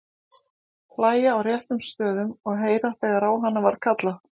Hlæja á réttum stöðum og heyra þegar á hana var kallað.